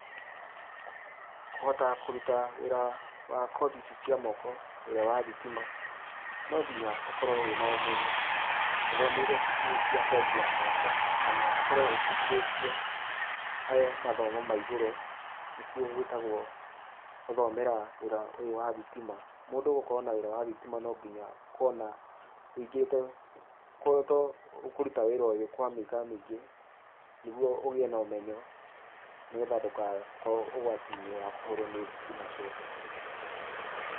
Kũhota kũruta wĩra wa kothi ici cia moko, wĩra wa thitima, nonginya ũkorwo wĩna ũmenyo, ũthomeire cukuru cia kothi ya moko, kana ũkorwo ũbundithĩtio he mathomo ma igũrũ nĩkuo gwĩtagwo gũthomera wĩra ũyũ wa thitima, mũndũ gũkorwo na wĩra wa thitima, nonginya ũkorwo na ũingĩrite to ũkĩruta wĩra ũyũ kwa mĩaka mĩingĩ nĩguo ũgĩe na ũmenyo, nĩgetha ndũgakorwo ũgwati-inĩ wa kũhũrwo nĩ thitima cũku.